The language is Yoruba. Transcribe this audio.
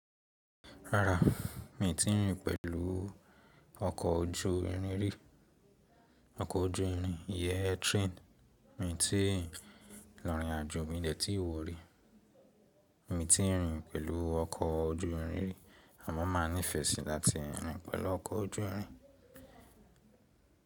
Rárá, mi ò tí ì rìn pẹ̀lú ọkọ̀ ojú irin rí. Ọkọ̀ ojú irin, ìyẹ́ train mi ò tí ì lọ̀rín àjo mídẹ̀ tí ì wọ̀ rí. Mi tí ì rìn pẹ̀lú ọkọ̀ ojú irin rí àmọ́ màá nífẹ̀ẹ́ sí láti rìn pẹ̀lú ọkọ̀ ojú irin.